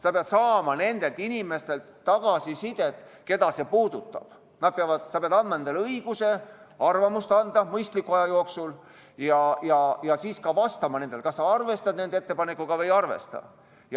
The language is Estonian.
Sa pead saama tagasisidet nendelt inimestelt, keda see puudutab, sa pead andma nendele õiguse arvamust avaldada mõistliku aja jooksul ja siis ka vastama, kas sa arvestad nende ettepanekut või ei.